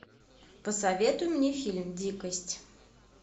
посоветуй мне фильм дикость